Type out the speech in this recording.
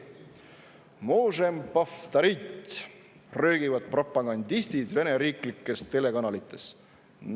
"Možem povtorit!" röögivad propagandistid Vene riiklikes telekanalites.